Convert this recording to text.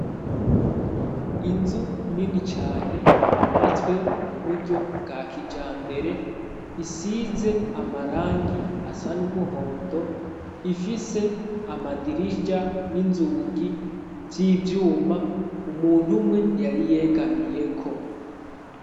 Inzu nini cane yubatswe mu buryo bwa kijambere isize amarangi asa n'umuhondo ifise amadirisha n'inzugi z'ivyuma umuntu umwe yari yegamiye ko.